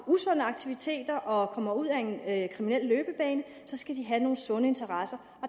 usunde aktiviteter og kommer ud ad en kriminel løbebane skal de have nogle sunde interesser